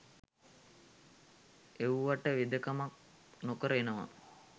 එව්වට වෙදකමක් නොකර එනවා